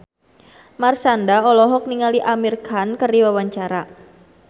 Marshanda olohok ningali Amir Khan keur diwawancara